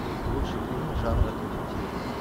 лучшие фильмы жанра детектив